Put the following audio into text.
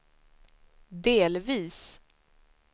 delvis